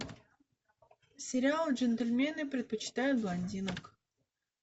сериал джентельмены предпочитают блондинок